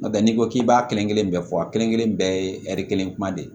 N'o tɛ n'i ko k'i b'a kelen kelen bɛɛ fɔ a kelen kelen bɛɛ ye kelen kuma de ye